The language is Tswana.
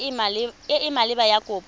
e e maleba ya kopo